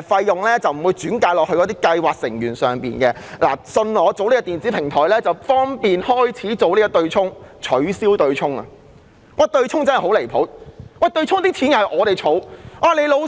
費用不會轉嫁到計劃成員身上，只要採納所推出的電子平台，便可有利於開始進行取消強積金對沖安排的程序。